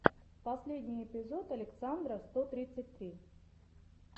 последний эпизод александра сто тридцать три